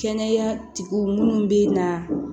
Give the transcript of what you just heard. Kɛnɛya tigiw munnu bɛ na